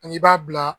An k'i b'a bila